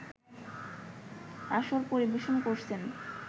আসর পরিবেশন করেছেন